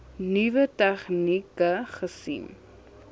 nuwe tegnieke gesien